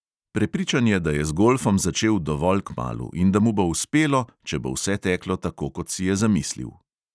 Prepričan je, da je z golfom začel dovolj kmalu in da mu bo uspelo, če bo vse teklo tako, kot si je zamislil.